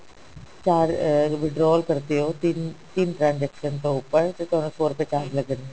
ਚਾਰ ਅਹ withdraw ਕਰਦੇ ਹੋ ਤਿੰਨ ਤਿੰਨ transaction ਤੋਂ ਉੱਪਰ ਤਾਂ ਤੁਹਾਨੂੰ ਸੋ ਰੁਪਏ charge ਲੱਗਣਗੇ